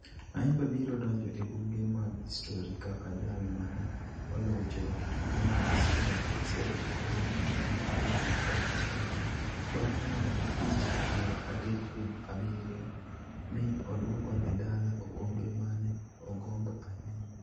Ayimba biro donjo e buge mag histori kaka jal ma ne olocho e tuke mag Singapore Sevens e higa mar aluf ariyo gi apar gi auchiel bang' loyo Fiji piero adek kuom abirio mi odwoko ne dala okombe ma ne ogombo ahinya.